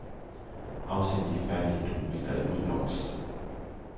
Afsend de færdige dokumenter i udboks.